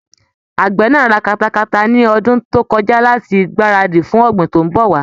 Àgbẹ̀ náà ra katakata ni ọdún tó kọjá láti gbáradì fún ọ̀gbìn tí ń bọ̀ wá.